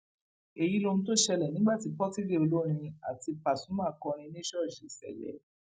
èyí lohun tó ṣẹlẹ nígbà tí pọtidé olórin àti pasuma kọrin ní ṣọọṣì ṣẹlẹ